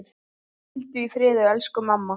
Hvíldu í friði elsku mamma.